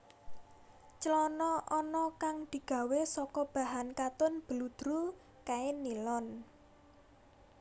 Clana ana kang digawé saka bahan katun bludru kain nilon